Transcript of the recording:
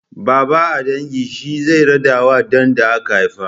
Babba a dangin shine zai raɗawa ɗan da aka haifa.